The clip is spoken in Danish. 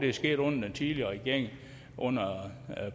er sket under den tidligere regering under